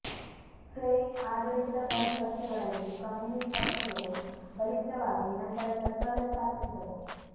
Frey ಆಡಳಿತದ ಕೊನೆ ವರ್ಷಗಳಲ್ಲಿ ಕಮ್ಯೂನಿಸ್ಟ್ ಪಕ್ಷಗಳು ಬಲಿಷ್ಠವಾಗಿ ನಂತರ ಸರಕಾರ ಸ್ಥಾಪಿಸಿದವು